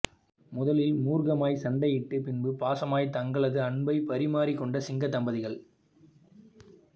முதலில் முர்கமாய் சண்டையிட்டு பின்பு பாசமாய் தங்களது அன்பை பரிமாறி கொண்ட சிங்க தம்பதிகள்